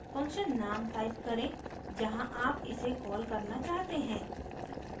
function name type करें जहाँ आप इसे कॉल करना चाहते हैं